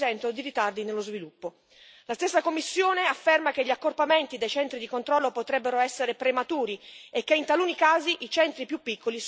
La stessa Commissione afferma che gli accorpamenti dei centri di controllo potrebbero essere prematuri e che in taluni casi i centri più piccoli sono meno costosi di quelli più grandi.